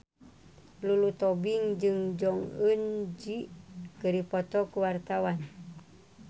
Lulu Tobing jeung Jong Eun Ji keur dipoto ku wartawan